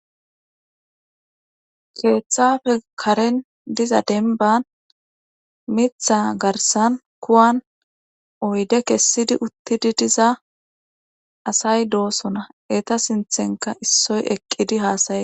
Keeththafe karen diza denban mitha garsan kuwan oyde kessidi uttidi diza asay doosona eta sinthenka issoy eqqidi haasayee.